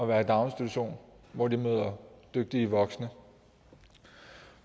være i daginstitution hvor de møder dygtige voksne